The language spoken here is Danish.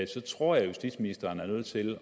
så tror jeg at justitsministeren er nødt til